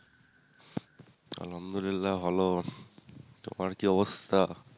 আলহামদুলিল্লাহ ভালো তোমার কি অবস্থা?